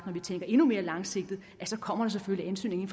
når vi tænker endnu mere langsigtet selvfølgelig